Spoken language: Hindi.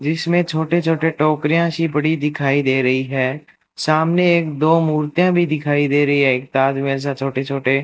जीसमें छोटे छोटे टोकरियां सी पड़ी दिखाई दे रही है सामने एक दो मूर्तियां भी दिखाई दे रही है एक ताजमहल सा छोटे छोटे --